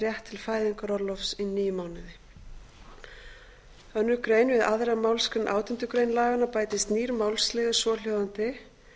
rétt til fæðingarorlofs í níu mánuði önnur grein við aðra málsgrein átjándu grein laganna bætist nýr málsliður svohljóðandi